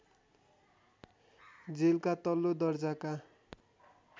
जेलका तल्लो दर्जाका